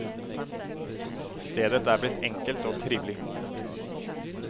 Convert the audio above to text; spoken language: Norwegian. Stedet er blitt enkelt og trivelig.